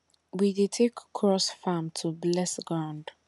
we dey take cross farm to bless ground